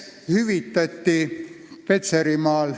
Kolm minutit juurde.